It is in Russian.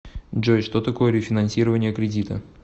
джой что такое рефинансирование кредита